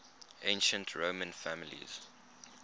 ancient roman families